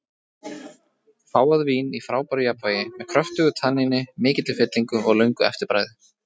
Fágað vín í frábæru jafnvægi, með kröftugu tanníni, mikilli fyllingu og löngu eftirbragði.